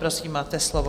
Prosím, máte slovo.